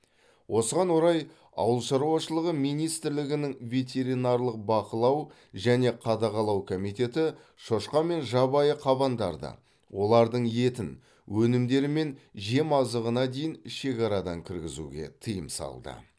осыған орай ауылшаруашылығы министрлігінің ветеринарлық бақылау және қадағалау комитеті шошқа мен жабайы қабандарды олардың етін өнімдері мен жемазығына дейін шекарадан кіргізуге тыйым салды